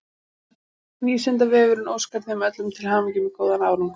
Vísindavefurinn óskar þeim öllum til hamingju með góðan árangur!